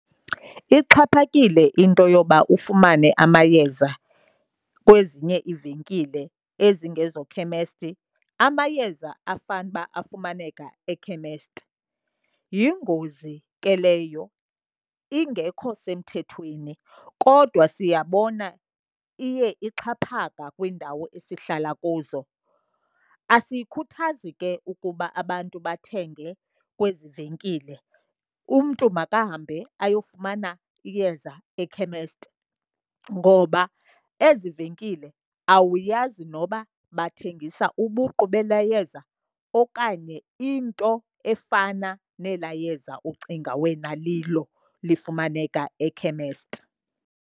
Ixhaphakile into yoba ufumane amayeza kwezinye iivenkile ezingezokhemesti amayeza afanuba afumaneka ekhemesti. Yingozi ke leyo ingekho semthethweni, kodwa siyabona iye ixhaphaka kwiindawo esihlala kuzo. Asiyikhuthazi ke ukuba abantu bathenge kwezi venkile. Umntu makahambe ayofumana iyeza ekhemesti, ngoba ezi venkile awuyazi noba bathengisa ubuqu belaa yeza okanye into efana nelaa yeza ucinga wena lilo lifumaneka ekhemesti.